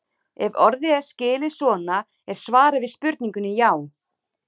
Ef orðið er skilið svona er svarið við spurningunni já.